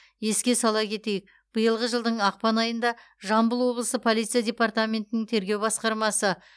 еске сала кетейік биылғы жылдың ақпан айында жамбыл облысы полиция департаментінің тергеу басқармасы